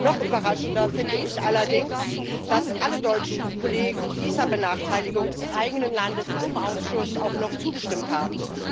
Noch überraschender finde ich allerdings, dass alle deutschen Kollegen dieser Benachteiligung des eigenen Landes im Ausschuss auch noch zugestimmt haben.